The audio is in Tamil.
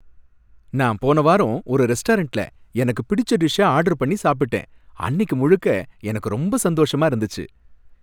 நான் போன வாரம் ஒரு ரெஸ்டாரண்ட்ல எனக்கு பிடிச்ச டிஷ்ஷ ஆர்டர் பண்ணி சாப்பிட்டேன், அன்னிக்கு முழுக்க எனக்கு ரொம்ப சந்தோஷமா இருந்தது.